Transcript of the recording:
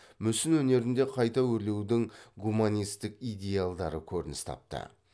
мүсін өнерінде қайта өрлеудің гуманистік идеалдары көрініс тапты